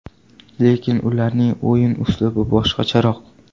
Lekin ularning o‘yin uslubi boshqacharoq.